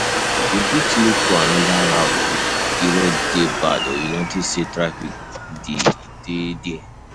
You fit look for another route if di road de bad or you notice say trafic de dey there